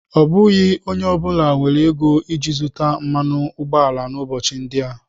Ọ bụghị onye ọ bụla nwere ego iji zụta mmanụ ụgbọala n'ụbọchị ndị a.